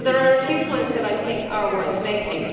There are a few points that I think are worth making.